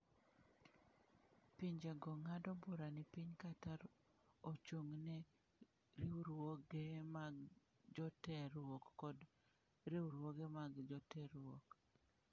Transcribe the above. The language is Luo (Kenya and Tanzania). Pinjego ng’ado bura ni piny Qatar ochung’ ne riwruoge mag joterruok kod riwruoge mag joterruok.